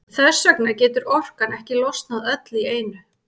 Þess vegna getur orkan ekki losnað öll í einu.